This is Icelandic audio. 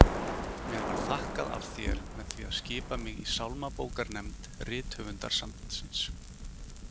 Mér var þakkað af þér með því að skipa mig í sálmabókarnefnd Rithöfundasambandsins!